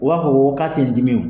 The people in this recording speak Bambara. O b'a fɔ k'a tɛ n dimi o